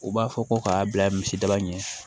U b'a fɔ ko k'a bila misidaba ɲɛ